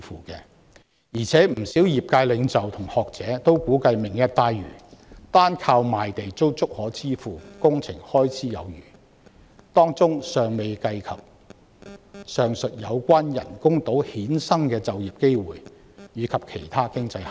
再者，不少業界領袖和學者均估計"明日大嶼願景"單靠賣地已足以支付工程開支有餘，當中尚未計及人工島衍生的就業機會與其他經濟效益。